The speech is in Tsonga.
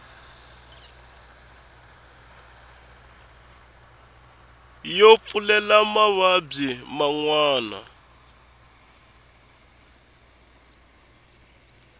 yo pfulela mavabyi man wana